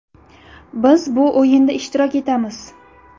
Biz bu o‘yinda ishtirok etamiz.